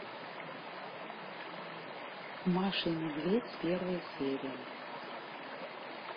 маша и медведь первая серия